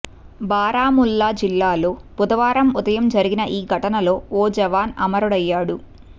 బారాముల్లా జిల్లాల్లో బుధవారం ఉదయం జరిగిన ఈ ఘటనలో ఓ జవాను అమరుడయ్యాడు